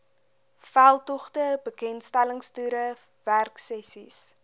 veldtogte bekendstellingstoere werksessies